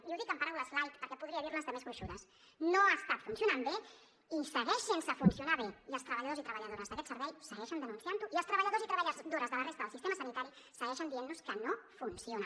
i ho dic en paraules light perquè podria dir ne de més gruixudes no ha estat funcionant bé i segueix sense funcionar bé i els treballadors i treballadores d’aquest servei segueixen denunciant ho i els treballadors i treballadores de la resta del sistema sanitari segueixen dient nos que no funciona